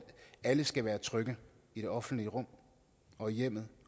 alle skal være trygge i det offentlige rum og i hjemmet